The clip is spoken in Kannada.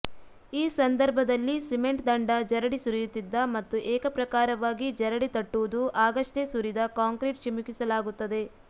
ಈ ಸಂದರ್ಭದಲ್ಲಿ ಸಿಮೆಂಟ್ ದಂಡ ಜರಡಿ ಸುರಿಯುತ್ತಿದ್ದ ಮತ್ತು ಏಕಪ್ರಕಾರವಾಗಿ ಜರಡಿ ತಟ್ಟುವುದು ಆಗಷ್ಟೇ ಸುರಿದ ಕಾಂಕ್ರೀಟ್ ಚಿಮುಕಿಸಲಾಗುತ್ತದೆ